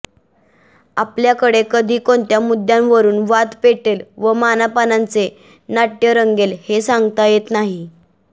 आपल्याकडे कधी कोणत्या मुद्दय़ावरून वाद पेटेल व मानापमानाचे नाट्य रंगेल ते सांगता येत नाही